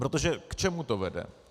Protože k čemu to vede?